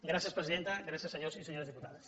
gràcies presidenta gràcies senyors i senyores diputades